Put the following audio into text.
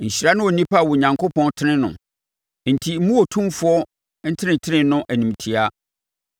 “Nhyira ne onipa a Onyankopɔn tene no, enti mmu Otumfoɔ ntenetene no animtiaa.